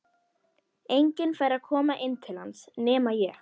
Enginn fær að koma inn til hans nema ég.